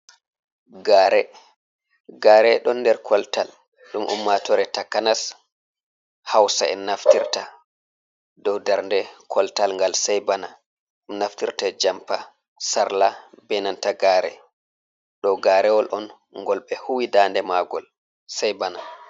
Gare. Gare ɗon nder koltal ɗum ummatore takanas Hausa en naftirta dou darnde koltal ngal sai bana ɗum naftirta jampa, sarla, be nanta gare ɗo garewol on ngol be huwi dande magol sai bana.